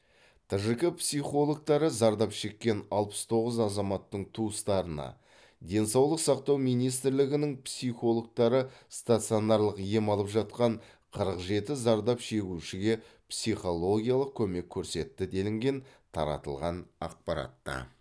тжк психологтары зардап шеккен алпыс тоғыз азаматтың туыстарына денсаулық сақтау министрлігінің психологтары стационарлық ем алып жатқан қырық жеті зардап шегушіге псхологиялық көмек көрсетті делінген таратылған ақпаратта